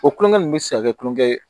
O kulonkɛ ninnu bɛ se ka kɛ kulonkɛ ye